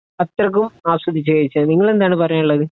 അത്രയ്ക്കും ആസ്വദിച്ച് കഴിച്ചത്? നിങ്ങൾ എന്താണ് പറയാനുള്ളത്?